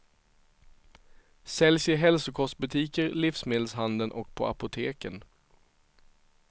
Säljs i hälsokostbutiker, livsmedelshandeln och på apoteken.